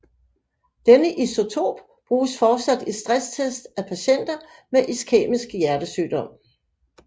Denne isotop bruges fortsat i stresstests af patienter med iskæmisk hjertesygdom